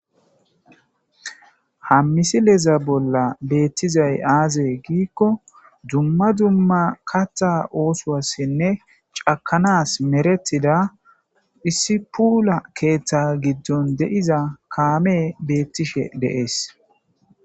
hammisileza bolla beettizay aaze giikko dumma dumma katha oosoassinne cakanas meretida hissipuula keeththa giddon de7iza kaame beettishe deees